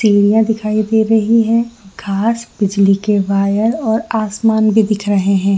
तीनीया दिखाई दे रही है घास बिजली के वायर और आसमान भी दिख रहे है।